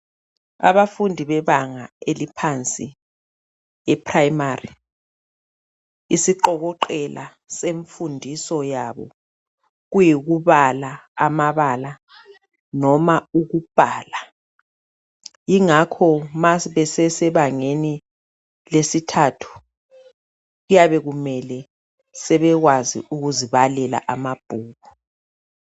Abafundi bebanga eliphansi eprimary isiqokoqela semfundiso yabo kuyikubala amabala noma ukubhala ingakho ma sebesebangeni lesithathu kuyabe kumele sebekwazi ukuzibalela amabhuku.